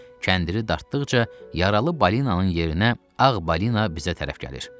Kəndiri dartdıqca yaralı balinanın yerinə ağ balina bizə tərəf gəlir.